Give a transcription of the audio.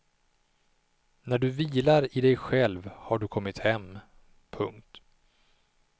När du vilar i dig själv har du kommit hem. punkt